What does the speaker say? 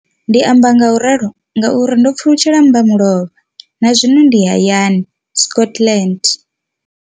Ndi amba ngauralo nga uri ndo pfulutshela mmbamulovha na zwino ndi hayani, Scotland.